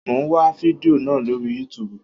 Mo ń wá fidió náà lóri yútubù.